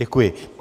Děkuji.